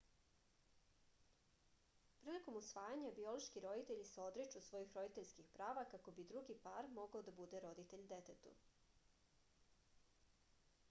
prilikom usvajanja biološki roditelji se odriču svojih roditeljskih prava kako bi drugi par mogao da bude roditelj detetu